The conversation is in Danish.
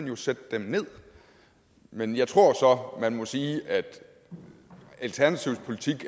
må sætte dem nederst men jeg tror så man må sige at alternativets politik